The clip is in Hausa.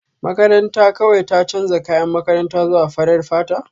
Makaranta kawai ta canza kayan makaranta zuwa farar fata